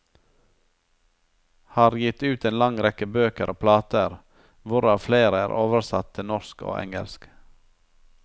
Har gitt ut en lang rekke bøker og plater, hvorav flere er oversatt til norsk og engelsk.